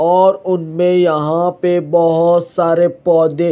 और उनमें यहां पे बहुत सारे पौधे--